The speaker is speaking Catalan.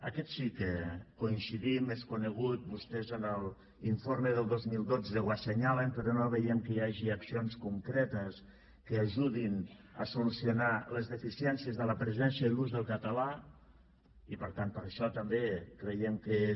en aquest sí que coincidim és conegut vostès en l’informe del dos mil dotze ho assenyalen però no veiem que hi hagi accions concretes que ajudin a solucionar les deficiències de la presència i l’ús del català i per tant per això també creiem que és